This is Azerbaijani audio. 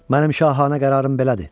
Mənim şahanə qərarım belədir.